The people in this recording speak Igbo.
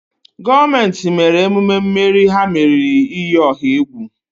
gọọmenti mere emume mmeri ha meriri iyi ọha egwu